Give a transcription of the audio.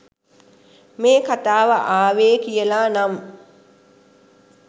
මේ කතාව ආවේ කියලා නම්.